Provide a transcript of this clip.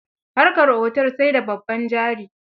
Harkar otel sai da babban jari.